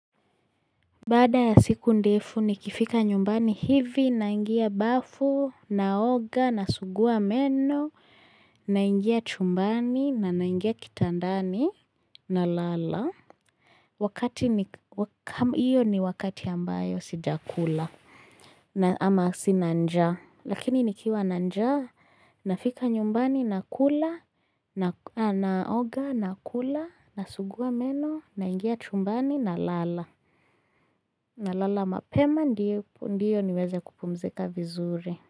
Bada ya siku ndefu, nikifika nyumbani hivi, naingia bafu, naoga, nasugua meno, naingia chumbani, na naingia kitandani, nalala. Wakati ni, iyo ni wakati ambayo sijakula, ama sina njaa. Lakini nikiwa na njaa, nafika nyumbani, nakula, naoga, nakula, nasuguwa meno, naingia chumbani, nalala. Na lala mapema ndiyo niweze kupumzika vizuri.